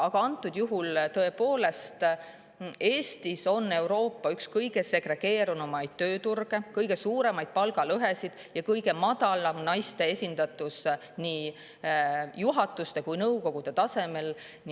Aga antud juhul, tõepoolest, on Eestis üks Euroopa segregeerunumaid tööturge, kõige suurem palgalõhe ja kõige madalam naiste esindatus nii juhatuse kui ka nõukogu.